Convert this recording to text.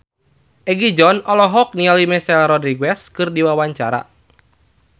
Egi John olohok ningali Michelle Rodriguez keur diwawancara